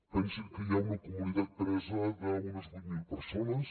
pensin que hi ha una comunitat presa d’unes vuit mil persones